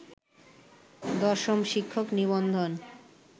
১০ম শিক্ষক নিবন্ধন